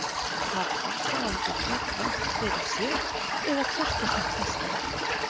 Hafa aðdáendurnir rangt fyrir sér eða hvert er þitt besta verk?